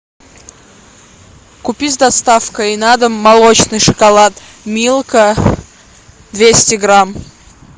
купи с доставкой на дом молочный шоколад милка двести грамм